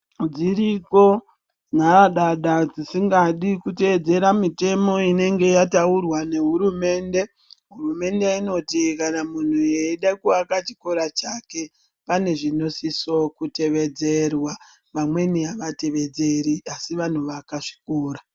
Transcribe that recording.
Dziriko nharadada dzisingadi kuteedzera mitemo inenge yataurwa nehurumende. Hurumende inoti kana munhu eida kuaka chikora chake, pane zvinosiso kutevedzerwa. Vamweni avatevedzeri asi vanovaka zvikora.